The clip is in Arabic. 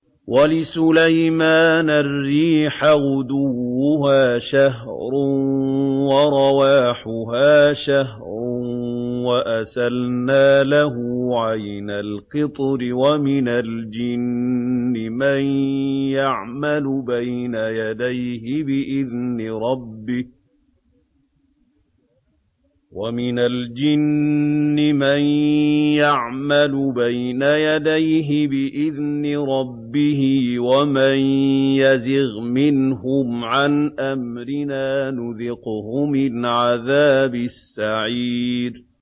وَلِسُلَيْمَانَ الرِّيحَ غُدُوُّهَا شَهْرٌ وَرَوَاحُهَا شَهْرٌ ۖ وَأَسَلْنَا لَهُ عَيْنَ الْقِطْرِ ۖ وَمِنَ الْجِنِّ مَن يَعْمَلُ بَيْنَ يَدَيْهِ بِإِذْنِ رَبِّهِ ۖ وَمَن يَزِغْ مِنْهُمْ عَنْ أَمْرِنَا نُذِقْهُ مِنْ عَذَابِ السَّعِيرِ